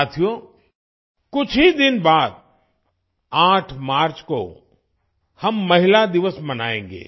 साथियो कुछ ही दिन बाद 8 मार्च को हम महिला दिवस मनाएंगे